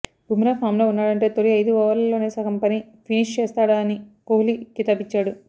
Bumrah form లో ఉన్నాడంటే తొలి ఐదారు ఓవర్లలోనే సగం పని ఫినిష్ చేసేస్తాడని కోహ్లీ కితాబిచ్చాడు